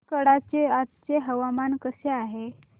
मार्कंडा चे आजचे हवामान कसे आहे